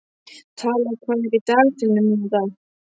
Tala, hvað er í dagatalinu mínu í dag?